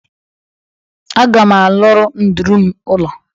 Aga m alụrụ nduru m ụlọ.